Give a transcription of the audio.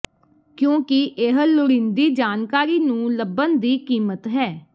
ਕਿਉਂਕਿ ਇਹ ਲੋੜੀਂਦੀ ਜਾਣਕਾਰੀ ਨੂੰ ਲੱਭਣ ਦੀ ਕੀਮਤ ਹੈ